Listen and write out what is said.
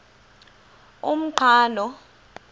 umqhano